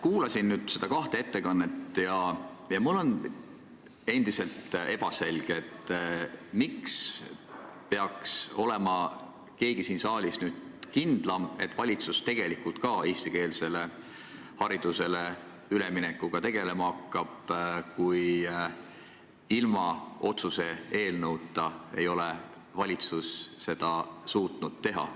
Kuulasin neid kahte ettekannet ja mulle on endiselt ebaselge, miks peaks keegi siin saalis olema nüüd kindlam, et valitsus ka tegelikult eestikeelsele haridusele üleminekuga tegelema hakkab, kui ilma otsuse eelnõuta ei ole valitsus suutnud seda teha.